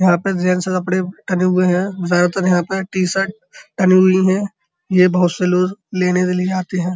यहां पर जेंट्स के कपड़े टंगे हुए हैं ज्यादा तर यहाँ पर टी-शर्ट टंगी हुई हैं। ये बोहोत से लोग लेने के लिए आते हैं।